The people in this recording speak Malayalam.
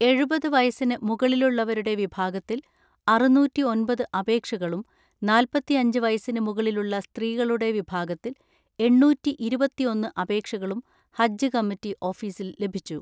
എഴുപത് വയസ്സിന് മുകളിലുള്ളവരുടെ വിഭാഗത്തിൽ അറുന്നൂറ്റിഒൻപത് അപേക്ഷകളും നാല്പത്തിഅഞ്ച് വയസ്സിന് മുകളിലുള്ള സ്ത്രീകളുടെ വിഭാഗത്തിൽ എണ്ണൂറ്റിഇരുപത്തിഒന്ന്‌ അപേക്ഷകളും ഹജ്ജ് കമ്മിറ്റി ഓഫീസിൽ ലഭിച്ചു.